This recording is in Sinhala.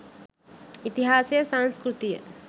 ඉතිහාසය සංස්කෘතිය